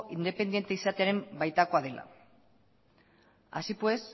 independente izatearen baitakoa dela así pues